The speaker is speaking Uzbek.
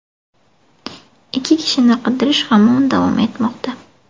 Ikki kishini qidirish hamon davom etmoqda.